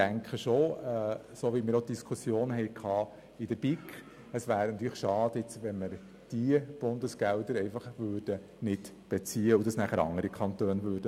Meines Erachtens wäre es natürlich schade, wenn wir diese Bundesgelder nicht beziehen würden und es nachher andere Kantone tun würden.